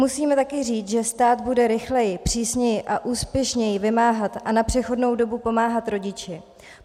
Musíme taky říct, že stát bude rychleji, přísněji a úspěšněji vymáhat a na přechodnou dobu pomáhat rodiči.